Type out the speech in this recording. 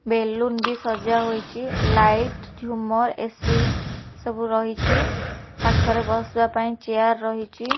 Balloon ବି ସଜା ହୋଇଚି ଲାଇଟ ଝୁମର ଏ_ସି ସବୁ ରହିଚି ପାଖରେ ବସିବା ପାଇଁ ଚିଆର ରହିଚି।